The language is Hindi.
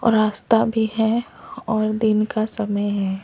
और रास्ता भी है और दिन का समय है।